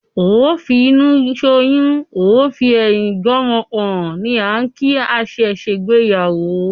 "Ó fi inú soyún, ó fi ẹ̀yin gbé ọmọ pọ̀n" ni á ń kìí àṣẹ ṣe gbé ìyàwó.